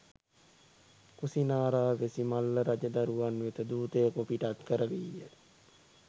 කුසිනාරාවැසි මල්ල රජදරුවන් වෙත දූතයෙකු පිටත් කරවීය